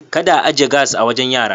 Kada a aje gas a wajen yara.